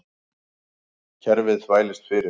Kerfið þvælist fyrir